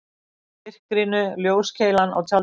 Í myrkrinu ljóskeilan á tjaldinu.